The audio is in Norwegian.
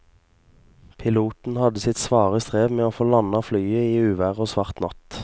Piloten hadde sitt svare strev med å få landet flyet i uvær og svart natt.